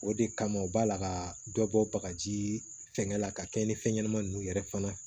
O de kama u b'a la ka dɔ bɔ bagaji fɛnŋɛ la ka kɛ ni fɛn ɲɛnama nunnu yɛrɛ fana ye